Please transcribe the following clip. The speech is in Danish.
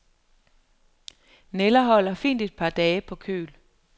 Nælder holder fint et par dage på køl.